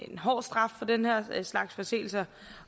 hård straf for den her slags forseelser